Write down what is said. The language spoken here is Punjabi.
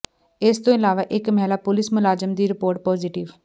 ਇਸ ਤੋਂ ਇਲਾਵਾ ਇੱਕ ਮਹਿਲਾ ਪੁਲਿਸ ਮੁਲਾਜ਼ਮ ਦੀ ਰਿਪੋਰਟ ਪੌਜੀਟਿਵ